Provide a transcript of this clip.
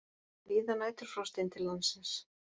Víða næturfrost inn til landsins